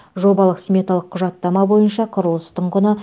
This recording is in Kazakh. жобалық сметалық құжаттама бойынша құрылыстың құны